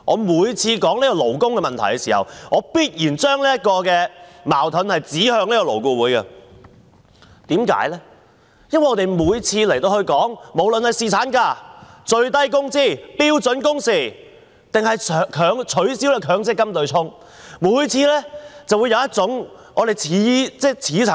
每次提及勞工問題的時候，我必須把矛頭指向勞顧會，因為我們每次在這裏討論侍產假、法定最低工資、標準工時或取消強制性公積金對沖時，都會聽到一種似曾相識的說法。